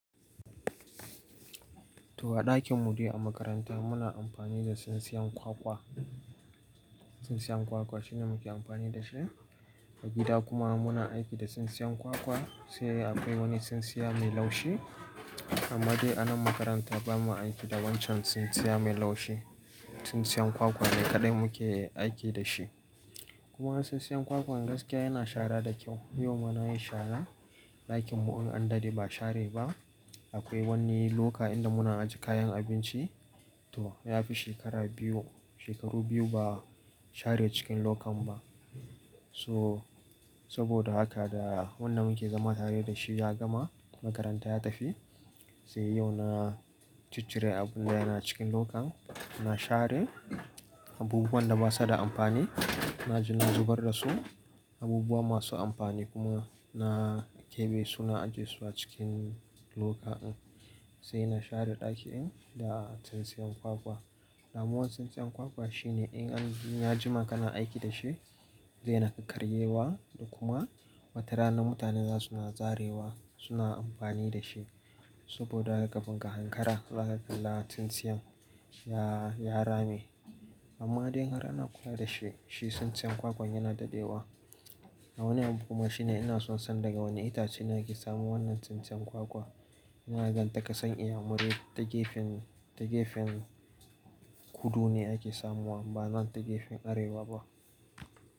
To a ɗakin mu ɗai a makaranta muna amfani da tsintsiyan kwakwa. Tsintsiyan kwakwa shine muke amfani da shi. A gida kuma muna aiki da tsintsiyan kwakwa, sai akwai wani tsintsiya mai laushi. Amma dai a nan makaranta ba mu aiki da wancan tsintsiya mai laushi. Tsintsiyan kwakwa ne kaɗai muke aiki da shi. Kuma tsintsiyan kwakwan gaskiya yana shara da kyau. Yau ma na yi shara, ɗakin mu in an dade ba a share ba. Akwai wani loka inda muna ajiye kayan abinci. To ya fi shekara biyu, shekaru biyu ba a share cikin lokan ba. So saboda haka da wannan muke zama tare da shi ya gama, makaranta ya tafi. Sai yau na cicire abin da yana cikin lokan, na share abubuwan da ba su da amfani, na je na zubar da su. Abubuwa masu amfani kuma na keɓe su na ajiye su a cikin loka din. Sai na share ɗaki in da tsintsiyan kwakwa. Damuwan tsintsiyan kwakwa shine in an ya jima kana aiki da shi, zai na ƙaƙaryewa da kuma watarana mutane za su na zarewa, suna amfani da shi. Saboda daga kafun ka hankara, zaka kala tsintsiyan ya, ya rame. Amma dai in har ana kula da shi, shi tsintsiyan kwakwan yana dadewa. A wani abu kuma shine ina son san daga wane itace ne ake samun wannan tsintsiyan kwakwa. Na gan ta ƙasan inyamurai ta gefen, ta gefen kudu ne ake samuwa ba nan ta gefen arewa ba.